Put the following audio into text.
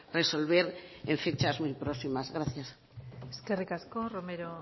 resolver en fechas muy próximas gracias eskerrik asko romero